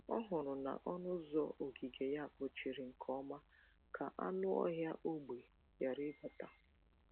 Ọ hụrụ na ọnụ ụzọ ogige ya kpochiri nke ọma ka anụ ọhịa ógbè ghara ịbata.